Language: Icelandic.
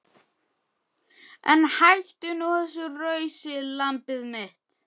En hættu nú þessu rausi lambið mitt.